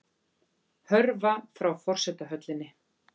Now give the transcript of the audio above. Hörfa frá forsetahöllinni